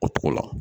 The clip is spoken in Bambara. O cogo la